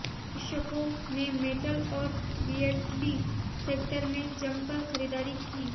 निवेशकों ने मेटल और रियल्टी सेक्टर में जमकर खरीदारी की